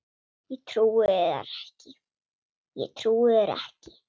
Ég trúi þér ekki.